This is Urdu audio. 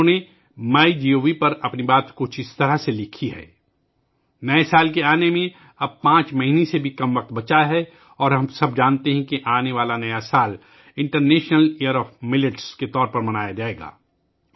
انہوں نے مائی گوو پر اپنی بات کچھ اس طرح لکھی ہے نئے سال کے آنے میں 5 ماہ سے بھی کم وقت بچا ہے اور ہم سب جانتے ہیں کہ آنے والا نیا سال جوار باجرے کے بین الاقوامی سال کے طور پر منایا جائے گا